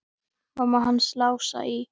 Mamma hans Lása í